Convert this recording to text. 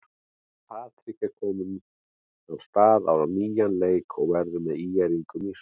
Patrik er kominn af stað á nýjan leik og verður með ÍR-ingum í sumar.